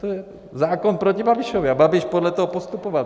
To je zákon proti Babišovi a Babiš podle toho postupoval.